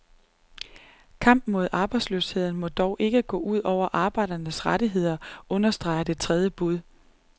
Kampen mod arbejdsløsheden må dog ikke gå ud over arbejdernes rettigheder, understreger det tredje bud.